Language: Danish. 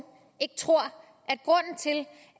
ikke tror